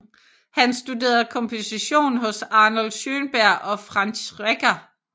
Han studerede komposition hos Arnold Schönberg og Franz Schreker